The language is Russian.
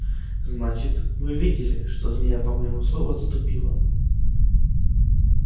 значит вы видели что змея по моему слову отступила